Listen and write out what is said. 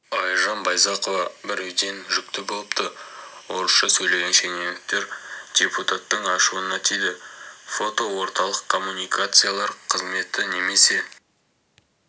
айжан байзақова біреуден жүкті болыпты орысша сөйлеген шенеуніктер депутаттың ашуына тиді фото орталық коммуникациялар қызметі немесе